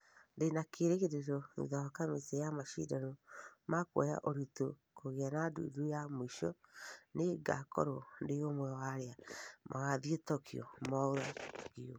" Ndĩna kĩirigĩriro thutha wa kamiti ya mashidano ma kũoya ũritũ kũgea na ndundu ya muisho , nĩ ngakorwo ndĩ ũmwe wa arĩa magũthie tokyo" mwaura akiuga